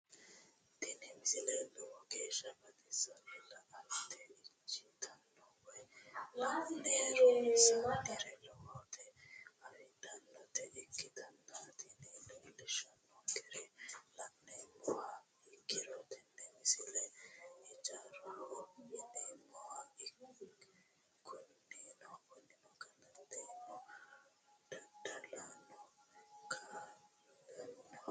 tini misile lowo geeshsha baxissannote la"ate injiitanno woy la'ne ronsannire lowote afidhinota ikkitanna tini leellishshannonkeri la'nummoha ikkiro tini misile ijaaraho yineemmoho kunino galateno daddalohono ka'a'lannoho.